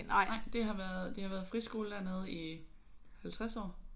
Nej det har været det har været friskole dernede i 50 år